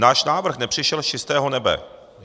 Náš návrh nepřišel z čistého nebe.